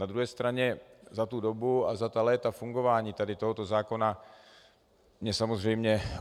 Na druhé straně za tu dobu a za ta léta fungování tady tohoto zákona mě samozřejmě...